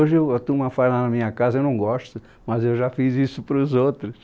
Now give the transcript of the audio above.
Hoje eu, a turma faz lá na minha casa, eu não gosto, mas eu já fiz isso para os outros.